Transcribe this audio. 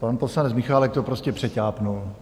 Pan poslanec Michálek to prostě přeťápl.